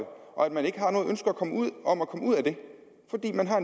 og at man ikke har noget ønske om at komme ud af det fordi man har